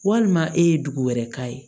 Walima e ye dugu wɛrɛ k'a ye